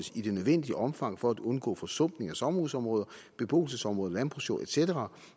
i det nødvendige omfang for at undgå forsumpning af sommerhusområder beboelsesområder landbrugsjord et cetera